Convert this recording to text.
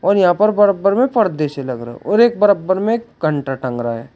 और यहां पर बराबर में पर्दे से लग रहे और एक बराबर में कंटा टंग रहा है।